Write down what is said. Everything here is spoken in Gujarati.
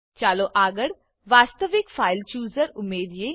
ચાલો આગળ વાસ્તવિક ફાઇલ ચૂઝર ફાઈલ ચુઝર ઉમેરીએ